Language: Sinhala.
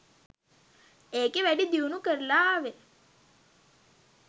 ඒකෙ වැඩි දියුණු කරලා ආවෙ